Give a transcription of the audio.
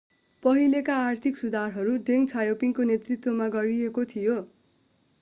पहिलेका आर्थिक सुधारहरू deng xiaoping को नेतृत्वमा गरिएको थियो